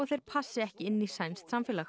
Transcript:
þeir passi ekki inn í sænskt samfélag